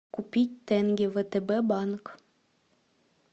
купить тенге втб банк